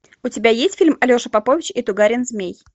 у тебя есть фильм алеша попович и тугарин змей